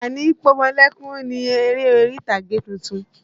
Àlàní pọmọlẹ́kún ni eré orí ìtàgé tuntun.